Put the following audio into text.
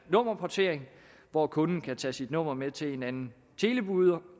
at nummerportering hvor kunden kan tage sit nummer med til en anden